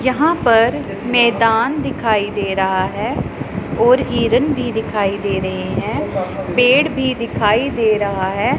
यहां पर मैदान दिखाई दे रहा है और हिरन भी दिखाई दे रहे हैं पेड़ भी दिखाई दे रहा है।